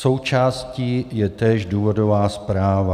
Součástí je též důvodová zpráva.